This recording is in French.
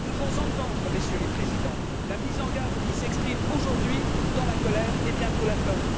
Nous devons entendre, Messieurs les Présidents, la mise en garde qui s'exprime aujourd'hui dans la colère, et bientôt la peur.